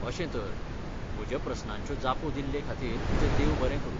अशें तर. म्हज्या प्रस्नांच्यो जापो दिल्लेखातीर तुजें देव बरें करूं.